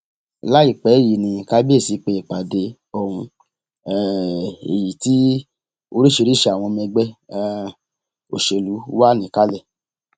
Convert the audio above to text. láìpẹ yìí ní kábíyèsí pé ìpàdé ohun um èyí tí oríṣìíríìríṣi àwọn ọmọ ẹgbẹ um òṣèlú wà níkàlẹ